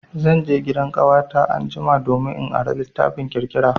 Zan je gidan ƙawata anjima domin in ara littafin labaran ƙirƙira.